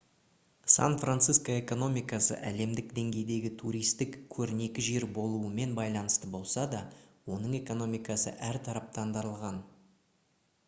сан-франциско экономикасы әлемдік деңгейдегі туристік көрнекі жер болуымен байланысты болса да оның экономикасы әртараптандырылған